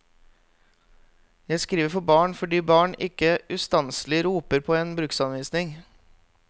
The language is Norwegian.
Jeg skriver for barn fordi barn ikke ustanselig roper på en bruksanvisning.